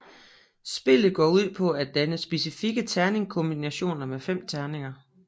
Spillet går ud på at danne specifikke terningkombinationer med fem terninger